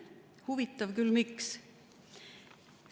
Huvitav küll, miks?